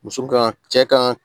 Muso ka cɛ kan